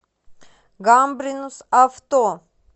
гамбринус авто